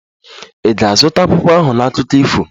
Ị ga-azụta akwụkwọ ahụ na akụkọ ifo?